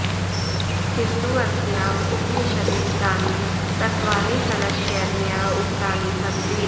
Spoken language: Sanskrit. किन्तु अस्याम् उपनिषदि तानि तत्त्वानि सरसशैल्या उक्तानि सन्ति